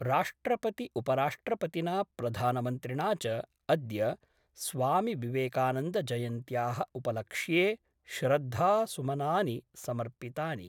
राष्ट्रपति उपराष्ट्रपतिना प्रधानमन्त्रिणा च अद्य स्वामिविवेकानन्दजयन्त्याः उपलक्ष्ये श्रद्धासुमनानि समर्पितानि।